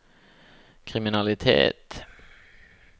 kriminalitet